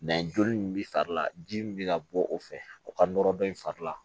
joli min bɛ fari la ji min bɛ ka bɔ o fɛ o ka nɔrɔ dɔ in fari la